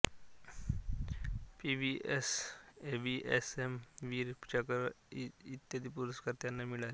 PVSM AVSM Vir Chakra इ पुरस्कार त्यांना मिळाले